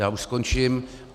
Já už skončím.